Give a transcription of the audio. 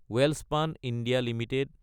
Welspun India Ltd